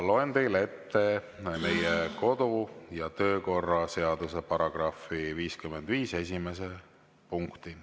Loen teile ette meie kodu‑ ja töökorra seaduse § 55 esimese punkti.